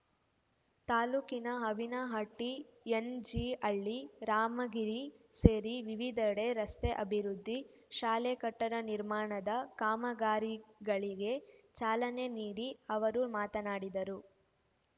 ತಾಲೂಕಿನ ಅವಿನಹಟ್ಟಿ ಎನ್‌ಜಿಹಳ್ಳಿ ರಾಮಗಿರಿ ಸೇರಿ ವಿವಿಧೆಡೆ ರಸ್ತೆ ಆಭಿವೃದ್ಧಿ ಶಾಲೆ ಕಟ್ಟಡ ನಿರ್ಮಾಣದ ಕಾಮಗಾರಿಗಳಿಗೆ ಚಾಲನೆ ನೀಡಿ ಅವರು ಮಾತನಾಡಿದರು